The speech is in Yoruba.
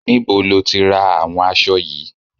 Níbo lo tí ra àwọn aṣọ yìí?